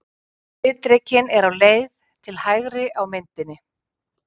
Skriðdrekinn er á leið til hægri á myndinni.